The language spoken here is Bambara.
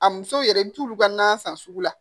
A musow yɛrɛ n t'olu ka na san sugu la